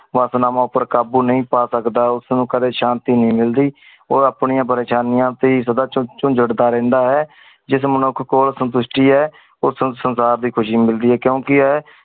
ਵਾਟ ਨਾ ਮੋਮੇਰ ਕਾਬੂ ਨਾਈ ਪਾ ਸਕ ਦਾ ਉਸ ਨੂ ਕਦੀ ਸ਼ਾਂਤੀ ਨਾਈ ਮਿਲਦੀ ਊ ਆਪਣੀ ਪ੍ਰੇਯ੍ਸ਼ਾਨਿਆ ਟੀ ਸਦਾ ਚੁਣ ਚੁਣ ਚੁੰਦਾਤਾ ਰਹੰਦਾ ਹੈ ਜਿਸਮ ਨੂ ਕਾਕੋਲ ਸ਼ਾਮ੍ਪਿਸ਼ਤੀ ਆਏ ਊ ਸੁਨ ਸੁਨ ਸਰਦਾਰ ਦੀ ਖੁਸ਼ੀ ਮਿਲ ਦੀ ਆਏ ਕੁੰ ਕੀ ਆਏ